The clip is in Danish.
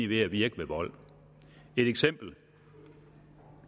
ved at virke ved vold et eksempel